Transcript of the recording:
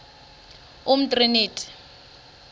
umtriniti